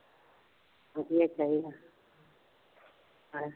ਹਾਂ ਵਧੀਆ ਚਾਹੀਦਾ